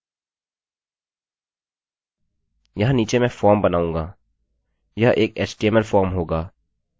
यहाँ नीचे मैं फॉर्मformबनाऊँगा